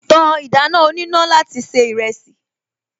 Ta ìdáná oníná láti se ìrẹsì